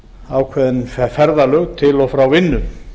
ákveðin ferðalög til og frá vinnu